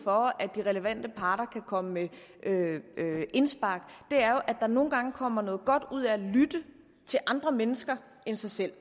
for at de relevante parter kan komme med indspark er jo at der nogle gange kommer noget godt ud af at lytte til andre mennesker end sig selv